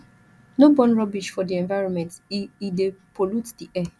no burn rubbish for di environment e e dey pollute di air